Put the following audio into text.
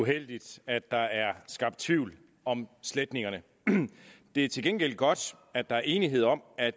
uheldigt at der er skabt tvivl om sletningerne det er til gengæld godt at der er enighed om at